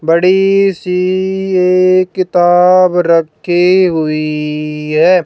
बड़ी सी एक किताब रखी हुई है।